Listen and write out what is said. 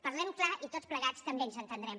parlem clar i tots plegats també ens entendrem